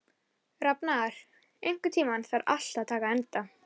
Rafnar, einhvern tímann þarf allt að taka enda.